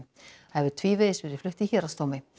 það hefur tvívegis verið flutt í héraðsdómi